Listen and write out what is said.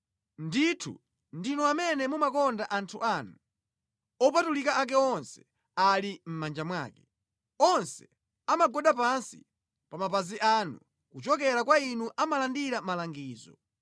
Ndithu ndinu amene mumakonda anthu anu; opatulika ake onse ali mʼmanja mwake. Onse amagwada pansi pa mapazi anu kuchokera kwa inu amalandira malangizo,